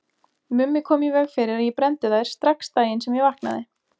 Mummi kom í veg fyrir að ég brenndi þær strax daginn sem ég vaknaði.